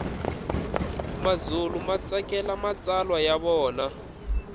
mazulu matsakela matsalwa yavona